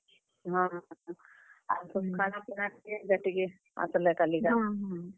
ହଁ ।